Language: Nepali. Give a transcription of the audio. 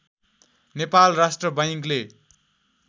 नेपाल राष्ट्र बैंकले